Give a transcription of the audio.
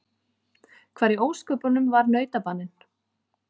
Hvar í ósköpunum var nautabaninn?